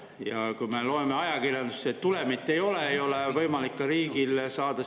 Ja me loeme ajakirjandusest, et tulemit ei ole, riigil ei ole võimalik sealt aktsiatulu saada.